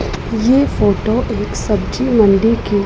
ये फोटो एक सब्जी मंडी के--